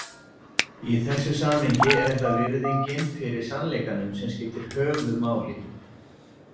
Í þessu samhengi er það virðingin fyrir sannleikanum sem skiptir höfuðmáli.